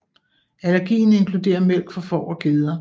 Allergien inkluderer mælk fra får og geder